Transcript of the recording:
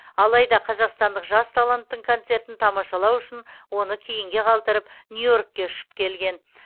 алайда қазақстандық жас таланттың концертін тамашалау үшін оны кейінге қалдырып нью йоркке ұшып келген